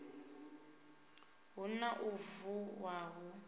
hu na u vuwa hu